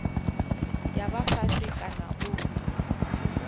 ya vha fhasi kana u